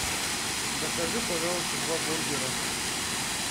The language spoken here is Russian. закажи пожалуйста два бургера